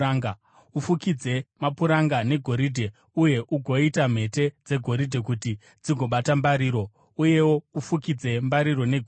Ufukidze mapuranga negoridhe uye ugoita mhete dzegoridhe kuti dzigobata mbariro. Uyewo ufukidze mbariro negoridhe.